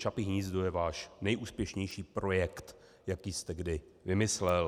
Čapí hnízdo je váš nejúspěšnější projekt, jaký jste kdy vymyslel.